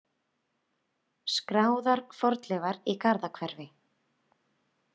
Skráðar fornleifar í Garðahverfi.